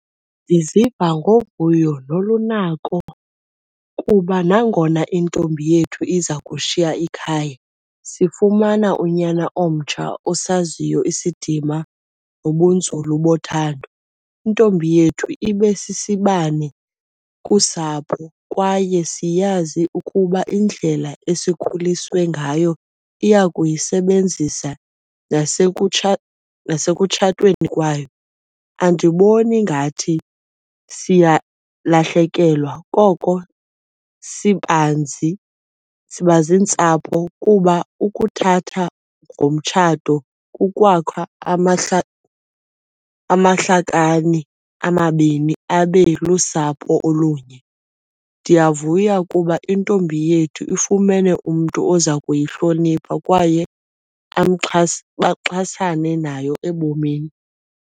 Ndiziva ngovuyo nolunako kuba nangona intombi yethu iza kushiya ikhaya sifumana unyana omtsha osaziyo isidima nobunzulu bothando. Intombi yethu ibesisibane kusapho kwaye siyazi ukuba indlela esikhuliswe ngayo iya kuyisebenzisa nasekutshatweni kwayo. Andiboni ngathi siyalahlekelwa koko sibanzi, siba ziintsapho kuba ukuthatha ngomtshato kukwakha amahlakani amabini abe lusapho olunye. Ndiyavuya ukuba intombi yethu ifumene umntu oza kuyihlonipha kwaye baxhasane nayo ebomini.